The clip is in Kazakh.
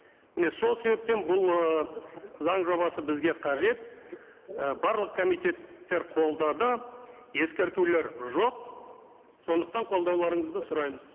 міне сол себептен бұл ыыы заң жобасы бізге қажет і барлық комитеттер қолдады ескертулер жоқ сондықтан қолдауларыңызды сұраймыз